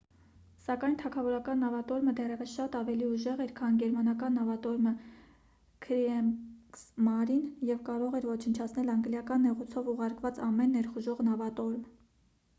սակայն թագավորական նավատորմը դեռևս շատ ավելի ուժեղ էր քան գերմանական նավատորմը «քրիեգսմարին» և կարող էր ոչնչացնել անգլիական նեղուցով ուղարկված ամեն ներխուժող նավատորմ: